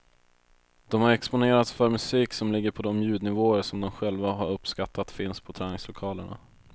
De har exponerats för musik som ligger på de ljudnivåer som de själva har uppskattat finns på träningslokalerna.